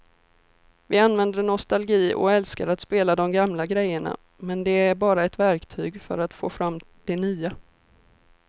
Vi använder nostalgi och älskar att spela de gamla grejerna men det är bara ett verktyg för att få fram det nya.